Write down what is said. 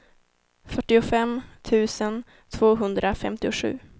fyrtiofem tusen tvåhundrafemtiosju